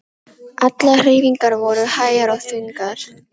Allar hreyfingar voru hægar og þungar.